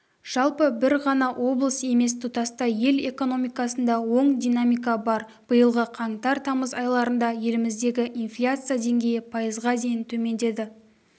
жалпы бір ғана облыс емес тұтастай ел экономикасында оң динамика бар биылғы қаңтар-тамыз айларында еліміздегі инфляция деңгейі пайызға дейін төмендеді